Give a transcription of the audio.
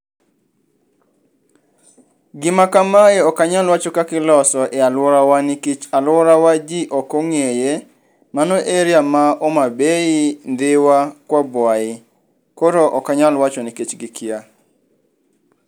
Gima kamae, ok anyal wacho kaka iloso e aluorawa, nikech aluorawa ji ok ong'eye. Mano area ma Homa Bay, Ndhiwa, Kwabuayi. Koro ok anyal wacho nikech gikya.